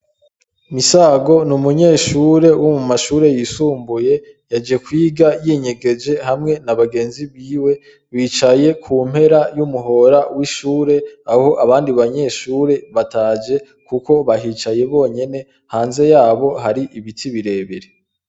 MISAGO ni umenyeshure wo mu mashure yisumbuye yaje kwiga yinyegeje hamwe n' abagenzi biwe bicaye ku mpera y' umuhora w' ishure aho abandi banyeshure bataje kuko bahicaye bonyene hanze yaho hari ibiti bire bire.